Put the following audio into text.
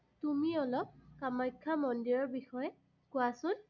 তুমি অলপ কামাখ্যা মন্দিৰৰ বিষয়ে কোৱাচোন।